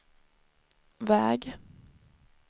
väg